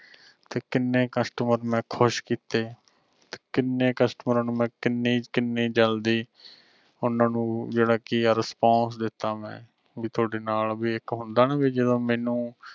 ਤੇ ਕਿੰਨੇ customer ਮੈਂ ਖੁਸ਼ ਕੀਤੇ ਤੇ ਕਿੰਨੇ ਕਸਟਮਰਾਂ ਕਿੰਨੀ-ਕਿੰਨੀ ਜਲਦੀ ਓਹਨਾ ਨੂੰ ਜਿਹੜਾ ਕਿ ਆ response ਦਿਤਾ ਮੈਂ ਵੀ ਥੋਡੇ ਨਾਲ ਵੀ ਇਕ ਹੁੰਦਾ ਨਾ ਵੀ ਜਦੋ ਮੈਨੂੰ